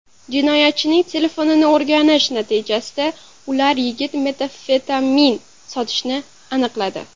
Jinoyatchining telefonini o‘rganish natijasida ular yigit metamfetamin sotishini aniqladi.